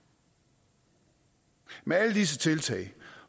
med alle disse tiltag